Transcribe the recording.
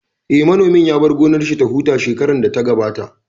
Eh, manomin ya bar gonar shi ya huta shekarar da ta gabata